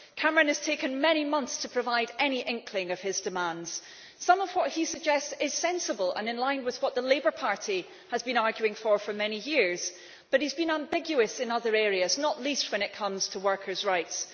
Cameron has taken many months to provide any inkling of his demands. Some of what he suggests is sensible and in line with what the Labour Party has been arguing for for many years, but he has been ambiguous in other areas, not least when it comes to workers' rights.